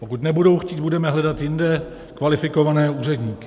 Pokud nebudou chtít, budeme hledat jinde kvalifikované úředníky.